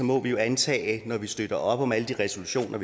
må vi jo antage når vi støtter op om alle de resolutioner